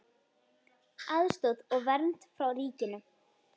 Aðstoð og vernd frá ríkinu